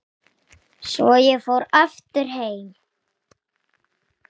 Svo ég fór aftur heim.